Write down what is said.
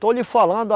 Estou lhe falando.